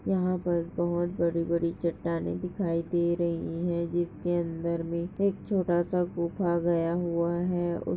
यहाँ पर बहुत बड़ी-बड़ी चट्टानें दिखाई दे रही है जिसके अंदर मे एक छोटा सा गुफा गया हुआ हैं। उस--